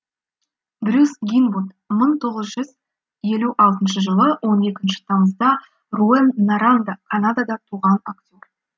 брюс гинвуд мың тоғыз жүз елу алтыншы жылы он екінші тамызда руэн норанда канадада туған актер